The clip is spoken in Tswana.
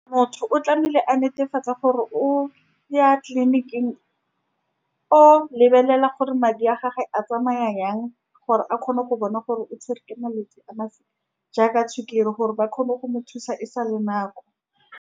Motho o tlamehile a netefatsa gore o ya tleliniking, o lebelela gore madi a gagwe a tsamaya jang, gore a kgone go bona gore o tshwerwe ke malwetse a afe, jaaka sukiri, gore ba kgone go mo thusa e sa le nako.